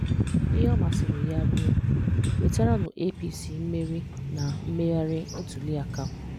Íhè ọ̀ masìrì yà rìè nwètàrànú APC mmerì na mmèghàrì ntùlìàkà